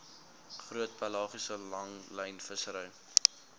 groot pelagiese langlynvissery